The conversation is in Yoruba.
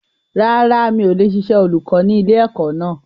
Rárá, mi ò lè ṣiṣẹ́ olùkọ́ ni ilẹ̀ ẹ̀kọ́ náà